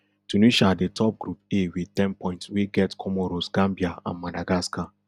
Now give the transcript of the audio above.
tunisia dey top group a wit ten points wey get comoros gambia and madagascar